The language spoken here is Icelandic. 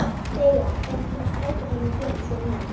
Veiga, hvenær kemur strætó númer fjörutíu og níu?